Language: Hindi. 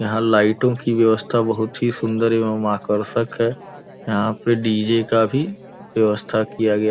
यहाँ लाइटों की व्यवस्था बहुत ही सुंदर एवमं आकर्षक है। यहाँ पे डी.जे का भी व्यवस्था किया गया --